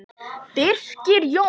Birgir Jón.